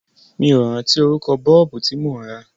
Mi ò rántí orúkọ Bọ́ọ̀bù tí mò ń rà.